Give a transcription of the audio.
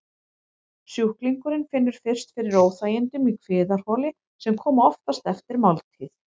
Sjúklingurinn finnur fyrst fyrir óþægindum í kviðarholi, sem koma oftast eftir máltíð.